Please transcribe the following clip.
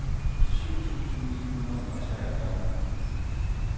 syv tusind ni hundrede og treogfyrre